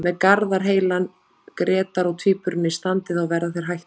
Með Garðar heilan, Grétar og Tvíburana í standi þá verða þeir hættulegir.